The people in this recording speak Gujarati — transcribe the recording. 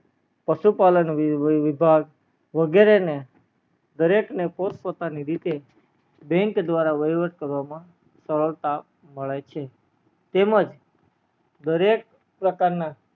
પશુ પાલન વિભાગ, વગેરે ને દરેક ને પોત પોતાની રીતે bank દ્વારા વહીવટ કરવામાં સરળતા મળે છે તેમજ દરેક પ્રકાર ના